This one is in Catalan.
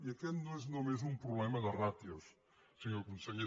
i aquest no és només un problema de ràtios senyor conseller